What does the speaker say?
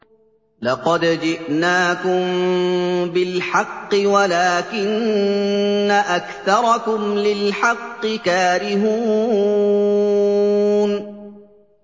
لَقَدْ جِئْنَاكُم بِالْحَقِّ وَلَٰكِنَّ أَكْثَرَكُمْ لِلْحَقِّ كَارِهُونَ